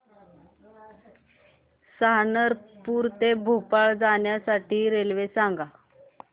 सहारनपुर ते भोपाळ जाण्यासाठी रेल्वे सांग